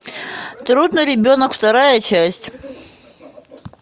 трудный ребенок вторая часть